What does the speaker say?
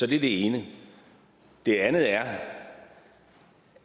det er det ene det andet er